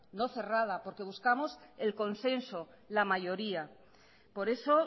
no cerrada porque buscamos el consenso la mayoría por eso